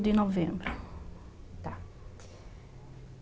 novembro. Tá.